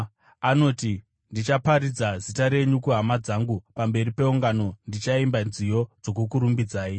Anoti, “Ndichaparidza zita renyu kuhama dzangu; pamberi peungano ndichaimba nziyo dzokukurumbidzai.”